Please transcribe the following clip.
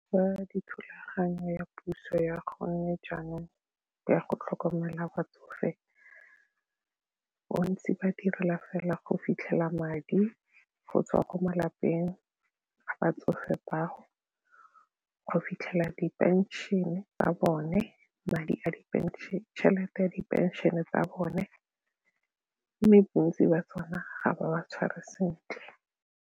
Fa dithulaganyo ya puso ya gone jaanong ya go tlhokomela batsofe bontsi ba direla fela go fitlhela madi go tswa ko malapeng a batsofe bao go fitlhela di-pension-e tsa bone, madi a pension-e, tšhelete tsa bone mme bontsi ba tsone ga ba ba tshware sentle.